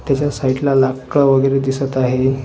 त्याच्या साईडला लाकड वगैरे दिसत आहे.